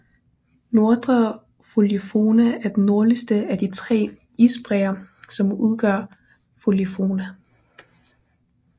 Nordre Folgefonna er den nordligste af de tre isbræer som udgør Folgefonna